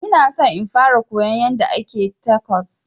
Ona son in fara koyon yanda ake tacos